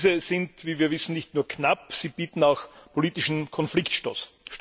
Diese sind, wie wir wissen, nicht nur knapp, sie bieten auch politischen Konfliktstoff.